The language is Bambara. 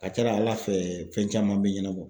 A ka ca ALA fɛ fɛn caman bɛ ɲɛnabɔ.